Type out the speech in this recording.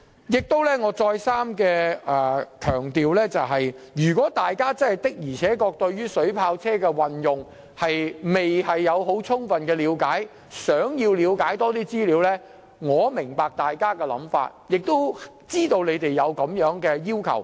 我再次強調，如果大家對於水炮車的運用未有充分了解，因而希望索取更多資料，我能夠明白，亦知道大家有此要求。